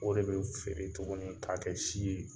O de be feere tuguni k'a kɛ si ye